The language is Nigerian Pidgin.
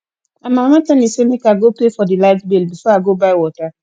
my mama tell me say make i go pay for the light bill before i go buy water